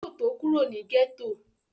Yóò tó kúrò ní gẹ́tò